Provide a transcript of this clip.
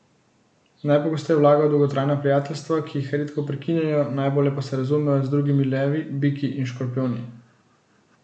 Najpogosteje vlagajo v dolgotrajna prijateljstva, ki jih redko prekinjajo, najbolje pa se razumejo z drugimi levi, biki in škorpijoni.